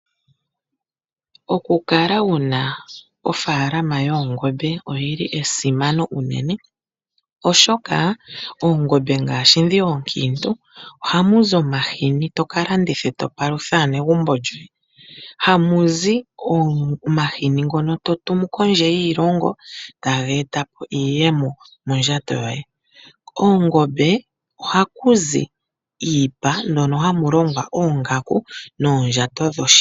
Okukala wuna ofaalama yoongombe, oyili esimano unene oshoka, oongombe ngaashi dhi ookiintu ohamu zi omahini toka landitha eto palutha aanegumbo yoye. Ohamuzi omahini ngono totumu kondje yiilongo, taga eta iiyemo mondjato yoye. Koongombe ohaku zi iipa mono hamu longwa oongaku noondjato dhoshipa.